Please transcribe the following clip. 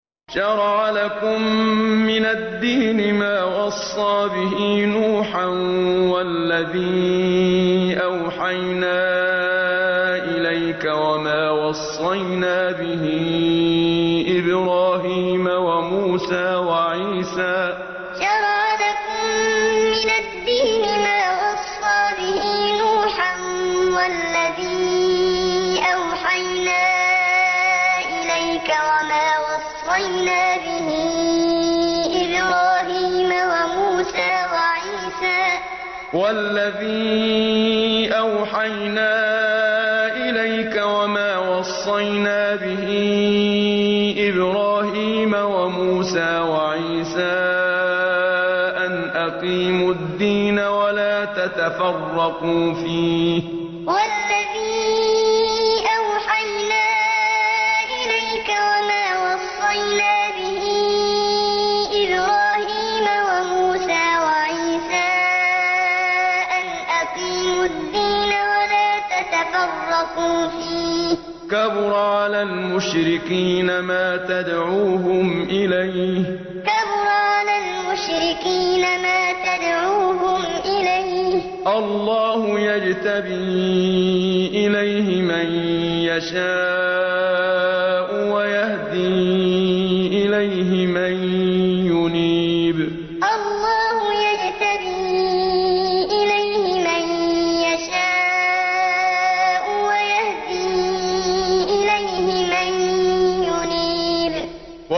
۞ شَرَعَ لَكُم مِّنَ الدِّينِ مَا وَصَّىٰ بِهِ نُوحًا وَالَّذِي أَوْحَيْنَا إِلَيْكَ وَمَا وَصَّيْنَا بِهِ إِبْرَاهِيمَ وَمُوسَىٰ وَعِيسَىٰ ۖ أَنْ أَقِيمُوا الدِّينَ وَلَا تَتَفَرَّقُوا فِيهِ ۚ كَبُرَ عَلَى الْمُشْرِكِينَ مَا تَدْعُوهُمْ إِلَيْهِ ۚ اللَّهُ يَجْتَبِي إِلَيْهِ مَن يَشَاءُ وَيَهْدِي إِلَيْهِ مَن يُنِيبُ ۞ شَرَعَ لَكُم مِّنَ الدِّينِ مَا وَصَّىٰ بِهِ نُوحًا وَالَّذِي أَوْحَيْنَا إِلَيْكَ وَمَا وَصَّيْنَا بِهِ إِبْرَاهِيمَ وَمُوسَىٰ وَعِيسَىٰ ۖ أَنْ أَقِيمُوا الدِّينَ وَلَا تَتَفَرَّقُوا فِيهِ ۚ كَبُرَ عَلَى الْمُشْرِكِينَ مَا تَدْعُوهُمْ إِلَيْهِ ۚ اللَّهُ يَجْتَبِي إِلَيْهِ مَن يَشَاءُ وَيَهْدِي إِلَيْهِ مَن يُنِيبُ